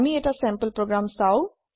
আম এটা sample program চাম